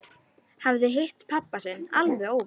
Hafði hitt pabba sinn alveg óvænt.